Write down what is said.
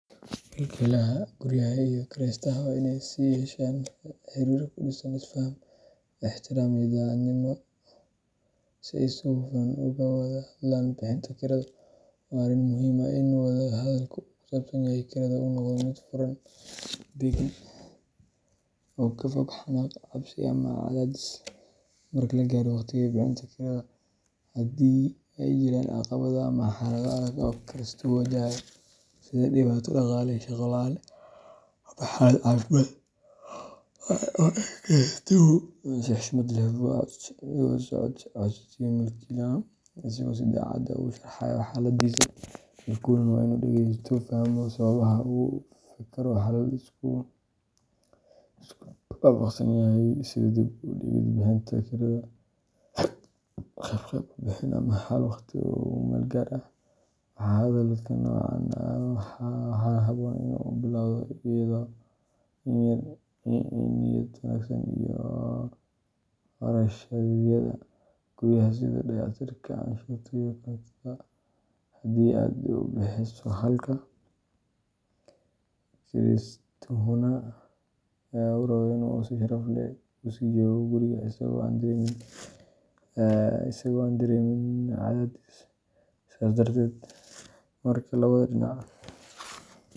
Milkiilaha guryaha iyo kiraystaha waa in ay yeeshaan xiriir ku dhisan is-faham, ixtiraam iyo daacadnimo si ay si hufan uga wada hadlaan bixinta kirada. Waa arrin muhiim ah in wada-hadalka ku saabsan kirada uu noqdo mid furan, deggan, oo ka fog xanaaq, cabsi ama cadaadis. Marka la gaaro waqtiga bixinta kirada, haddii ay jiraan caqabado ama xaalado adag oo kiraystuhu wajahayo, sida dhibaato dhaqaale, shaqo la’aan ama xaalad caafimaad, waa in kiraystuhu si xushmad leh ula socodsiiyo milkiilaha, isagoo si daacad ah u sharraxaya xaaladdiisa. Milkiiluhuna waa in uu dhageysto, fahmo sababaha, oo uu ka fekero xalal la isku waafaqsan yahay sida dib u dhigid bixinta kirada, qeyb qeyb u bixin, ama xal waqti ku-meel-gaar ah. Wada hadalka noocan ah waxaa habboon in uu ka bilowdo niyad wanaagsan iyo ujeeddo xal raadin. Milkiilaha wuxuu fahamsan yahay muhiimadda kirada si uu u daboolo kharashyada guryaha, sida dayactirka, canshuuraha, iyo korontada haddii uu isagu bixiyo, halka kiraystuhuna uu rabo in uu si sharaf leh u sii joogo guriga isagoo aan dareemin cadaadis. Sidaas darteed, marka labada dhinac.